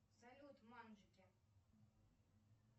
салют манжики